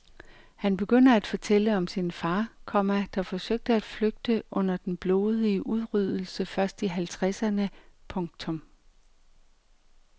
Han begynder at fortælle om sin far, komma der forsøgte at flygte under den blodige udryddelse først i halvtredserne. punktum